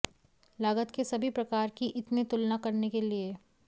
लागत के सभी प्रकार कि इतने तुलना करने के लिए